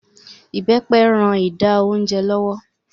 Ibepe ń rán ìdá oúnjẹ lọ́wọ́